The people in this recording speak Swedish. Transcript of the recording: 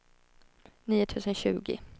nio tusen tjugo